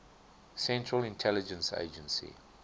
central intelligence agency